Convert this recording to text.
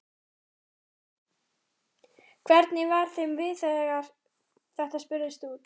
Hvernig var þeim við þegar að þetta spurðist út?